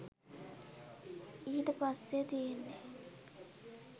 ඊට පස්සේ තියෙන්නේ